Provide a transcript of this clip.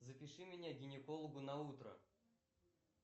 запиши меня к гинекологу на утро